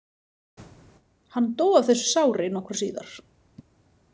Hann dó af þessu sári nokkru síðar.